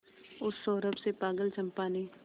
उस सौरभ से पागल चंपा ने